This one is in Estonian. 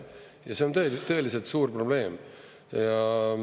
Ja see on tõeliselt suur probleem.